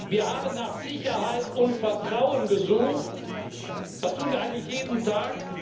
Wir haben nach Sicherheit und Vertrauen gesucht, das tun wir eigentlich jeden Tag.